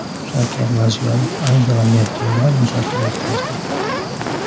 Shavkat Mirziyoyev Angela Merkel bilan muzokara o‘tkazdi .